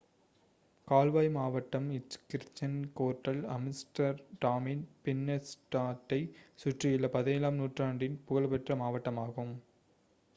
கால்வாய் மாவட்டம் Dutch: Grachtengordel ஆம்ஸ்டர்டாமின் பின்னென்ஸ்டாட்டைச் சுற்றியுள்ள 17 ஆம் நூற்றாண்டின் புகழ்பெற்ற மாவட்டமாகும்